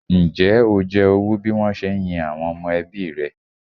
Ǹjẹ́ o jẹ owú bí wọ́n se ń yin àwọn ọmọ ẹbí rẹ?